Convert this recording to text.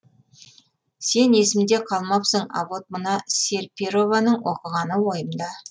сен есімде қалмапсың а вот мына серперованың оқығаны ойымда